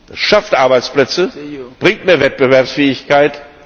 Das schafft Arbeitsplätze, bringt mehr Wettbewerbsfähigkeit.